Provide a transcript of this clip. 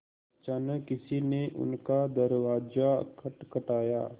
अचानक किसी ने उनका दरवाज़ा खटखटाया